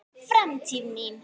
Framtíð mín?